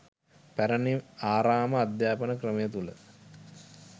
පැරණි ආරාම අධ්‍යාපන ක්‍රමය තුළ